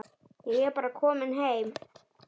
Ég er bara kominn heim.